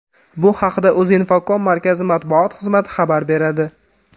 Bu haqda Uzinfocom markazi matbuot xizmati xabar beradi .